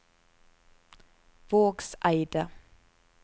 Vågseidet